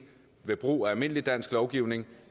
ved brug af almindelig dansk lovgivning